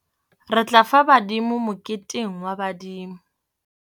Re tla fa badimo moketeng wa badimo.